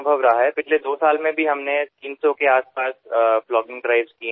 गेल्या दोन वर्षात संपूर्ण भारतभरात आम्ही तीनशेच्या आसपास प्लॉगींग मोहिमा राबवल्या आहेत